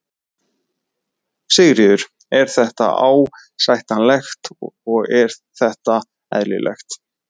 Sigríður: Er þetta ásættanlegt og er þetta eðlilegt?